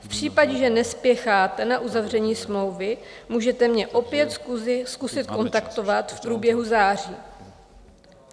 V případě, že nespěcháte na uzavření smlouvy, můžete mě opět zkusit kontaktovat v průběhu září.